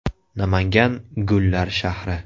Namangan – gullar shahri.